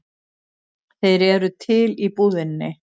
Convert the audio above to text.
Þeir eru til í búðinni.